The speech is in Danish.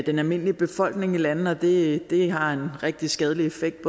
den almindelige befolkning i landene og det har en rigtig skadelig effekt